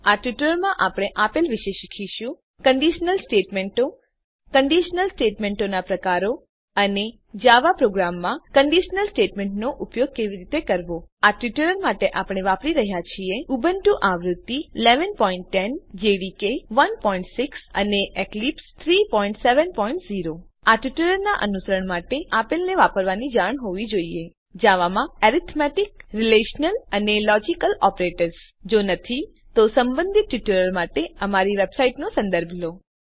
આ ટ્યુટોરીયલમાં આપણે આપેલ વિશે શીખીશું કંડીશનલ સ્ટેટમેંટો કંડીશનલ સ્ટેટમેંટોનાં પ્રકારો અને જાવા પ્રોગ્રામોમાં કંડીશનલ સ્ટેટમેંટોનો ઉપયોગ કેવી રીતે કરવો આ ટ્યુટોરીયલ માટે આપણે વાપરી રહ્યા છીએ ઉબુન્ટુ આવૃત્તિ ૧૧૧૦ જેડીકે ૧૬ અને એક્લીપ્સ ૩૭૦ આ ટ્યુટોરીયલનાં અનુસરણ માટે તમને આપેલને વાપરવાની જાણ હોવી જોઈએ જાવામાં એરિથમેટિક રિલેશનલ અને લોજિકલ ઓપરેટર્સ જો નથી તો સંબંધિત ટ્યુટોરીયલો માટે અમારી વેબસાઈટનો સંદર્ભ લો